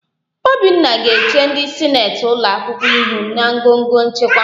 Obinna ga-eche ndị sineti ụlọakwụkwọ ihu na ngọngọ nchịkwa